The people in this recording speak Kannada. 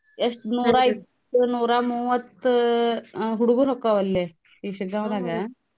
ಎಷ್ಟ್ ನೂರಾಮೂವತ್ತ್ ಹ್ಮ್ ಹುಡ್ಗುರ್ ಹೊಕ್ಕಾವಲ್ಲೆ ಈ ಶಿಗ್ಗಾಂವ್ .